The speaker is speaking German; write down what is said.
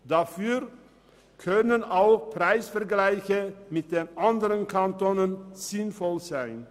Dafür können auch Preisvergleiche mit den anderen Kantonen sinnvoll sein.